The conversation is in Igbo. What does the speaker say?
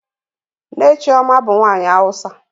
Nne Chioma bu nwanyi awusa.